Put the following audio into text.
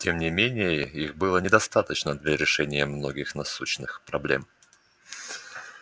тем не менее их было недостаточно для решения многих насущных проблем